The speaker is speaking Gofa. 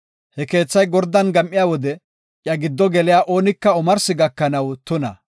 He keethay gordan gam7iya wode iya gido geliya oonika omarsi gakanaw tuna.